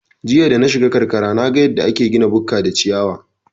Jiya danashiga karkara naga yadda ake gina bukka da ciyawa